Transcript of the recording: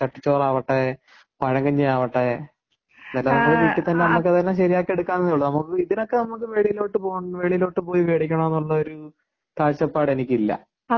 ചട്ടിച്ചോറ് ആവട്ടെ പഴങ്കഞ്ഞി ആവട്ടെ ഇത്എല്ലാം നമ്മുടെ വീട്ടിൽ തന്നെ നമുക്ക് തന്നെ ശരിയാക്കി എടുക്കാവുന്നതേയുള്ളൂ നമുക്ക് ഇതൊക്കെ നമുക്ക് വെളിയിലോട്ട് പോയിമേടിക്കണം എന്നുള്ള ഒരു കാഴ്ചപ്പാട് എനിക്കില്ല.